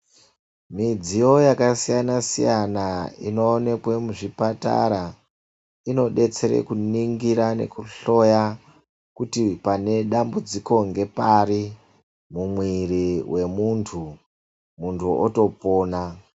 Midziyo yaka siyana siyana ino onekwe mu zvipatara ino detsere ku ningira neku hloya kuti pane dambudziko nge pari mu mwiri we muntu muntu oto pona.